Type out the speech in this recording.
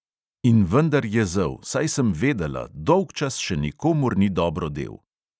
In vendar je zel, saj sem vedela, dolgčas še nikomur ni dobro del.